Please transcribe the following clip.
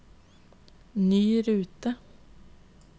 ny rute